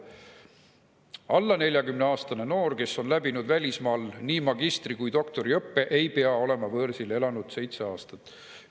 Alla 40-aastane noor, kes on läbinud välismaal nii magistri- kui doktoriõppe, ei pea olema võõrsil elanud seitse aastat.